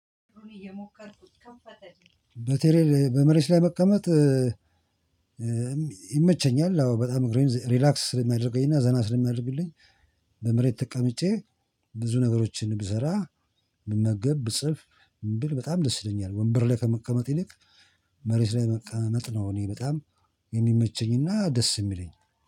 በተለይ በመሬት ላይ መቀመጥ ይመቸኛል አዎ በጣም እግሬን ሪላክስ ስለሚያደርገኝና ዘና ስለሚያደርግልኝ። በመሬት ተቀምጬ ብዙ ነገሮችን ብሰራ ብመገብ ብጽፍ ምን ብል በጣም ደስ ይለኛል። ወንበር ላይ ከመቀመጥ ይልቅ መሬት ላይ መጥነው እኔ በጣም የሚመቸኝና ደስ እሚለኝ።